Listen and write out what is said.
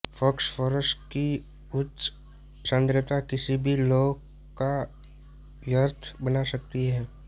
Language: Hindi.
फॉस्फोरस की उच्च सांद्रता किसी भी लौह को व्यर्थ बना सकती है